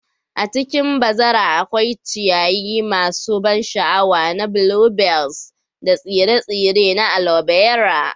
A cikin bazara akwai ciyayi masu ban sha'awa na bluebells da tsire-tsire na alobera.